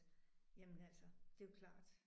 Jamen altså det er jo klart